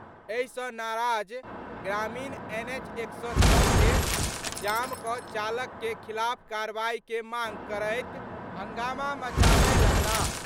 एहि सं नाराज ग्रामीण एनएच 106 के जाम क' चालक के खिलाफ कार्रवाई के मांग करैत हंगामा मचाबय लगलाह।